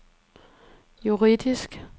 juridisk